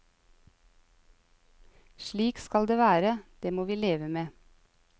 Slik skal det være, det må vi leve med.